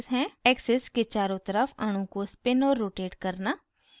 axis के चारों तरफ अणु को spin और rotate करना